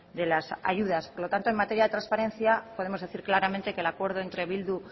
de las ayudas por lo tanto en materia de transparencia podemos decir claramente que el acuerdo entre bildu